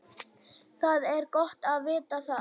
Það er gott að vita það.